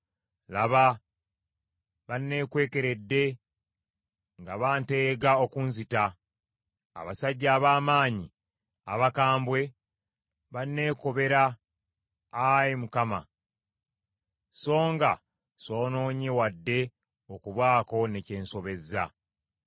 Laba banneekwekeredde nga banteega okunzita. Abasajja ab’amaanyi abakambwe banneekobera, Ayi Mukama , so nga soonoonye wadde okubaako ne kye nsobezza.